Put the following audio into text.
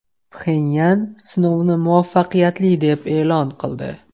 Pxenyan sinovni muvaffaqiyatli deb e’lon qildi.